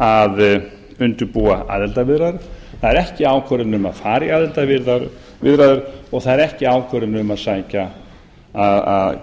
að undirbúa aðildarviðræður það er ekki ákvörðun um að fara í aðildarviðræður og það er ekki ákvörðun um að